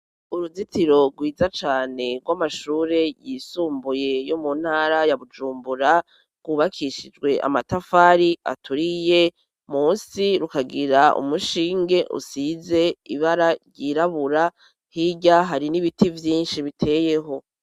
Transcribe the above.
Uruzitiro rwiza cane, rw'amashure yisumbuye yo mu ntara ya Bujumbura, rwubakishijwe amatafari aturiye, munsi rukagira umushinge usize ibara ryirabura, hirya hari n'ibiti vyinshi biteyeho.